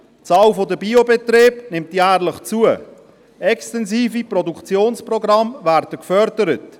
Die Zahl der Biobetriebe nimmt jährlich zu, extensive Produktionsprogramme werden gefördert.